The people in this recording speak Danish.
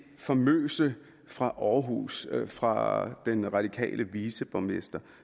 famøse fra aarhus fra den radikale viceborgmester